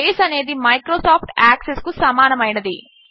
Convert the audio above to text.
base అనేది Microsoft Access కు సమానమైనది